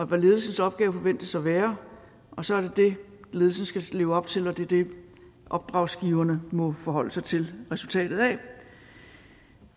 hvad ledelsens opgave forventes at være og så er det det ledelsen skal leve op til og det er det opdragsgiverne må forholde sig til resultatet af